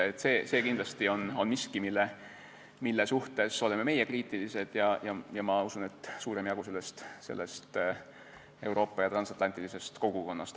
See on kindlasti miski, mille suhtes oleme kriitilised meie ja ma usun, et on kriitiline ka suurem jagu Euroopa ja transatlantilisest kogukonnast.